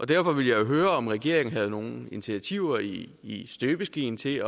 derfor ville jeg jo høre om regeringen havde nogen initiativer i i støbeskeen til